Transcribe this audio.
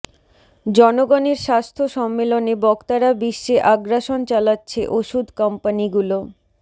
জনগণের স্বাস্থ্য সম্মেলনে বক্তারা বিশ্বে আগ্রাসন চালাচ্ছে ওষুধ কোম্পানিগুলো